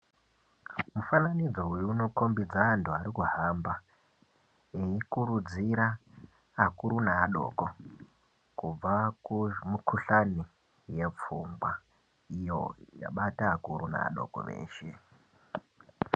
Mufananidzo uwo unokombidze antu arikuhamba veikurudzira akuru neadoko kubva kumukuhlani yepfungwa iyo yabata akuru neadoko eshe.